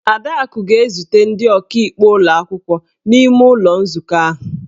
Adaku ga-ezute ndị ọkaikpe ụlọ akwụkwọ n'ime ụlọ nzukọ ahụ.